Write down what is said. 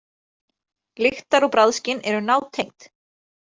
Lyktar- og bragðskyn eru nátengd.